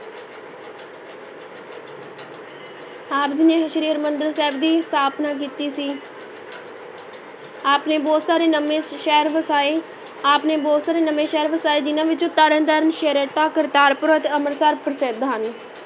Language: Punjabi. ਆਪ ਜੀ ਨੇ ਸ੍ਰੀ ਹਰਿਮੰਦਰ ਸਾਹਿਬ ਦੀ ਸਥਾਪਨਾ ਕੀਤੀ ਸੀ ਆਪ ਨੇ ਬਹੁਤ ਸਾਰੇ ਨਵੇਂ ਸ਼ਹਿਰ ਵਸਾਏ, ਆਪ ਨੇ ਬਹੁਤ ਸਾਰੇ ਨਵੇਂ ਸ਼ਹਿਰ ਵਸਾਏ ਜਿਹਨਾਂ ਵਿੱਚੋਂ ਤਰਨ ਤਾਰਨ, ਛੇਹਰਟਾ, ਕਰਤਾਰਪੁਰ ਅਤੇ ਅੰਮ੍ਰਿਤਸਰ ਪ੍ਰਸਿੱਧ ਹਨ।